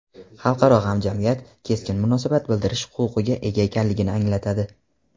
xalqaro hamjamiyat keskin munosabat bildirish huquqiga ega ekanligini anglatadi.